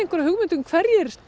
hugmynd um hverjir